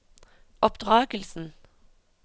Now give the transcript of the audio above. oppdragelsen